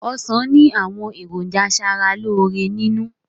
Ọ̀sán ni àwọn èròjà asaraloore nínú